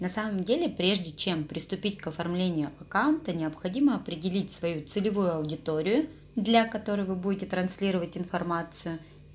на самом деле прежде чем приступить к оформлению аккаунта необходимо определить свою целевую аудиторию для которой вы будете транслировать информацию